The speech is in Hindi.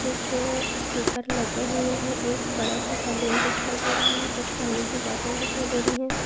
कूछ अ स्टीकर लगे हुये है। एक बडा सा बलून दिखाई दे रहा है। कुछ पाणी कि बोटल दिखाई दे रही है।